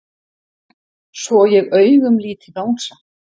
Svo ég augumlíti Bangsa.